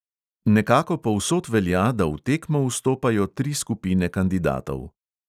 Nekako povsod velja, da v tekmo vstopajo tri skupine kandidatov.